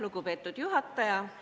Lugupeetud juhataja!